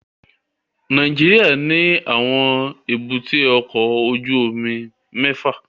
Nàìjíríà ní àwọn èbúté ọkọ ojú omi mẹ́fà